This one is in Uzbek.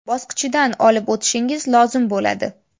bosqichidan olib o‘tishingiz lozim bo‘ladi.